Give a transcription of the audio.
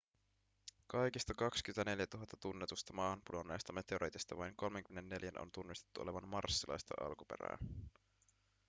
kaikista 24 000 tunnetusta maahan pudonneesta meteoriitista vain 34:n on tunnistettu olevan marsilaista alkuperää